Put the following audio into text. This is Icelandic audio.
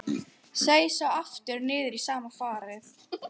Seig svo aftur niður í sama farið.